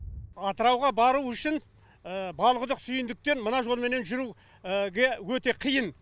атырауға бару үшін балқұдық сүйіндіктен мына жолменен жүруге өте қиын